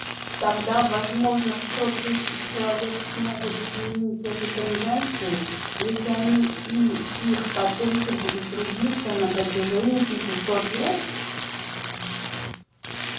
тогда возможно сто тысяч человек смогут изменить эту тенденцию если они и их потомки будут трудиться на протяжении пятисот лет